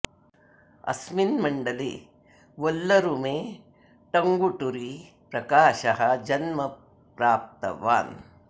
अस्मिन् मण्डले वल्लूरु मे टङ्गुटूरि प्रकाशः जन्मः प्राप्तवान्